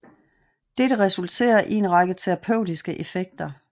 Dette resulterer i en række terapeutiske effekter